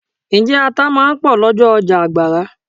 Ǹjẹ́ ata máa ń pò lọ́jọ́ ọjà Àgbàrá?